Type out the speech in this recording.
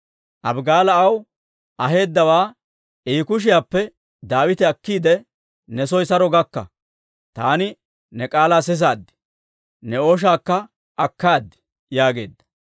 Abigaala aw aheedawaa I kushiyaappe Daawite akkiide, «Ne soo saro gakka. Taani ne k'aalaa sisaad; ne ooshaakka akkaad» yaageedda.